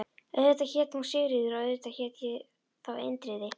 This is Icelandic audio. Auðvitað hét hún Sigríður og auðvitað hét ég þá Indriði.